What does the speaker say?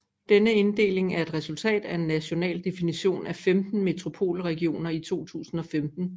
Denne inddeling er et resultat af en national definition af 15 metropolregioner i 2015